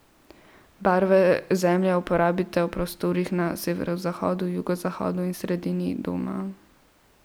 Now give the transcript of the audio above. Barve zemlje uporabite v prostorih na severovzhodu, jugozahodu in sredini doma.